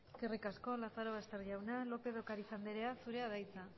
eskerrik asko lazarobaster jauna lopez de ocariz anderea zurea da hitza